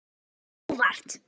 Þetta kom á óvart.